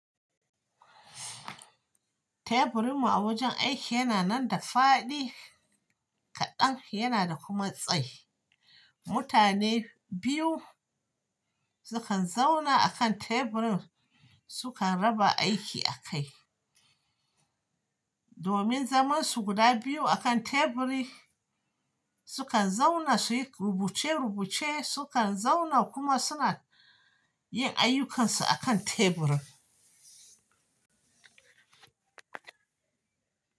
Teburinmu a wajen aiki yana nan da faɗi kaɗan yana da kuma tsayi. Mutane biyu sukan zauna akan teburin sukan raba aiki a kai. Domin zaman su guda biyu akan teburi, sukan zauna su yi rubuce rubuce sukan zauna kuma suna yin ayyukansu akan teburin.